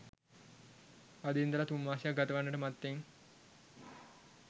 අද ඉඳලා තුන්මාසයක් ගතවන්නට මත්තෙන්